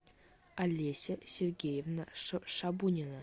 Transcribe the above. олеся сергеевна шабунина